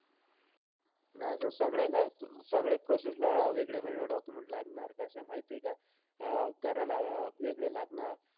नाई sir सगळेला सगळे एक process ला वेगळे-वेगळे document लागणार. कसंय माहितीय का अं घराला वेगळे लागणार.